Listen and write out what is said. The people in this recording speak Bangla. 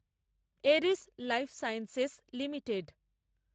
এরিস লাইফসাইন্সেস লিমিটেড